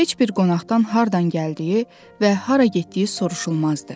Heç bir qonaqdan hardan gəldiyi və hara getdiyi soruşulmazdı.